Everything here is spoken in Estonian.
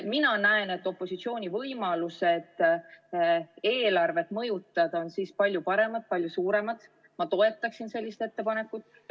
Mina näen, et opositsiooni võimalused eelarvet mõjutada oleks siis palju paremad, palju suuremad, ja ma toetaksin sellist ettepanekut.